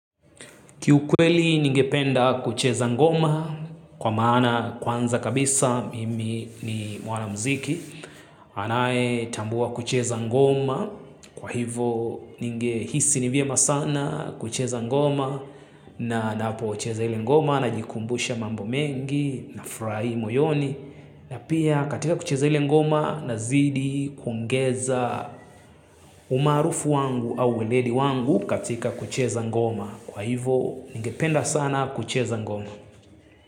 Kiukweli ningependa kucheza ngoma kwa maana kwanza kabisa mimi ni mwanamuziki. Anayetambua kucheza ngoma kwa hivo ningehisi ni vyema sana kucheza ngoma na ninapo cheza ile ngoma najikumbusha mambo mengi nafurahi moyoni. Na pia katika kucheza ile ngoma nazidi kuongeza umaarufu wangu au ueledi wangu katika kucheza ngoma. Kwa hivo, ningependa sana kucheza ngoma.